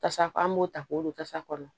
Tasa kɔnɔ an b'o ta k'o don kasa kɔnɔ